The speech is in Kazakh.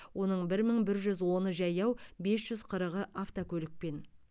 оның бір мың бір жүз оны жаяу бес жүз қырығы автокөлікпен